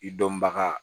I dɔnbaga